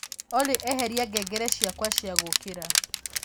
olly eheria ngengere ciakwa cia gũkĩra